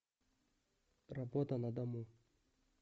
работа на дому